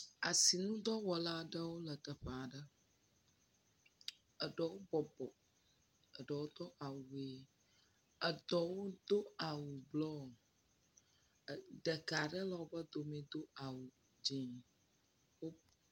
Asinudɔwɔla aɖewo le teƒe aɖe. Eɖewo bɔbɔ. Eɖewo do awu ʋe. Eɖewo do awu blɔ. Ɖeka aɖe le woƒe dome do awu dzẽ.